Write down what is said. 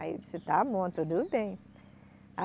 Aí eu disse, está bom, tudo bem.